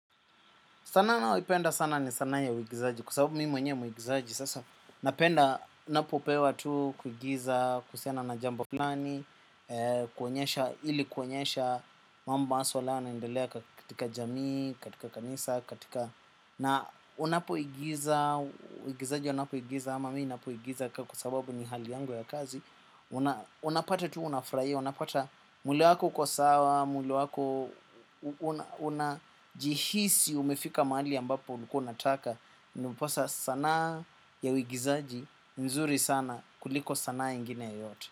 Sanaa nayoipenda sana ni sanaa ya uigizaji kwa sababu mi mwenye mwigizaji sasa. Napenda napopewa tu kuigiza kuhusiana na jambo flani. Kuonyesha ili kuonyesha mambo maswala yanayo endelea katika jamii, katika kanisa, katika na unapoigiza, uigizaji wanapoigiza ama mi napoigiza kwa sababu ni hali yangu ya kazi. Unapata tu unafurahia, unapata mwili wako kwa sawa, mwili wako. Unajihisi umefika mahali ambapo ulikua unataka. Unaposa sanaa ya uigizaji nzuri sana kuliko sanaa ingine yeyote.